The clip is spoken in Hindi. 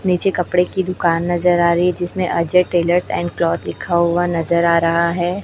नीचे कपड़े की दुकान नजर आ रही हैं जिसमें अजय टेलर एंड क्लॉथ लिखा हुआ नजर आ रहा है।